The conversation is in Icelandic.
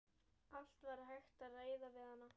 Allt var hægt að ræða við hana.